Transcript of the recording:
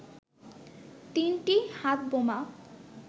তিনটি হাতবোমা